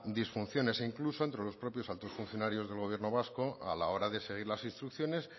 disfunciones incluso entre los propios altos funcionarios del gobierno vasco a la hora de seguir las instrucciones